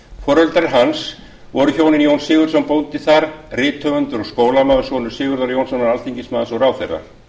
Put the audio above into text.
foreldrar hans voru hjónin jón sigurðsson bóndi þar rithöfundur og skólamaður sonur sigurðar jónssonar alþm og ráðherra